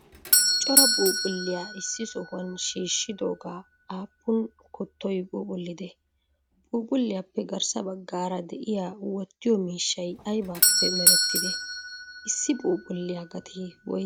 Cora phuuphphulliyaa issi sohuwan shiishshidooga appun kuttoy phuuphphullidee? Phuuphphulliyappe garsaa baggara de'iya wotiyo miishshay aybappe mereetide? issi Phuuphphulliyaa gatee woysee?